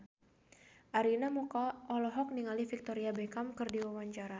Arina Mocca olohok ningali Victoria Beckham keur diwawancara